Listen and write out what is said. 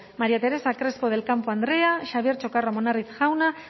maría teresa crespo del campo andrea xabier txokarro amunarriz jauna